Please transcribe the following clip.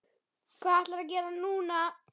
Hvað ætlarðu að gera núna?